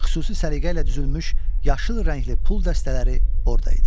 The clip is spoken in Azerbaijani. Xüsusi səliqə ilə düzülmüş yaşıl rəngli pul dəstələri orada idi.